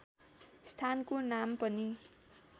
स्थानको नाम पनि